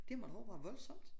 Det må da også være voldsomt